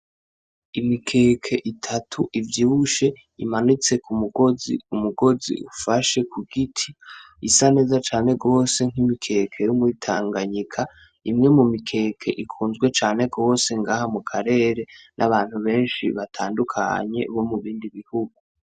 Imikeke itatu ivyibushe imanitse ku mugozi, umugozi ufashe ku giti isa neza cane rwose nk'imikeke yomwitanganyika, imwe mu mikeke ikunzwe cane rwose ngaha mu karere n'abantu benshi batandukanye bo mu bindi bihugu.